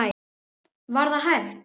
Var það hægt?